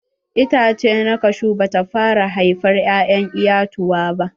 Itace na kashu bata fara haifar ƴa'ƴan iyatuwa ba.